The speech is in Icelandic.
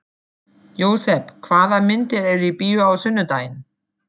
Jósep, hvaða myndir eru í bíó á sunnudaginn?